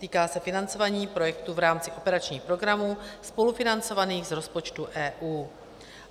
Týká se financování projektů v rámci operačních programů spolufinancovaných z rozpočtu EU.